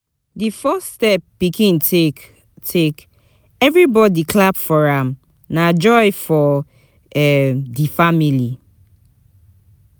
The first step pikin take, take, everybody clap for am, na joy for um di family.